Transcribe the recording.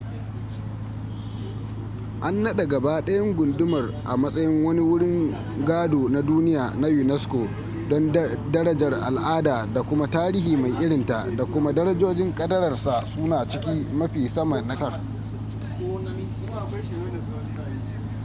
an naɗa gaba ɗayan gundumar a matsayin wani wurin gado na duniya na unesco don darajar al'ada da kuma tarihi mai irinta da kuma darajojin kadararsa suna cikin mafi sama na ƙasar